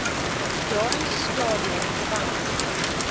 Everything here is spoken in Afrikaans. daai stadium was